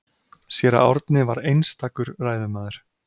Séra Árni var einstakur ræðumaður.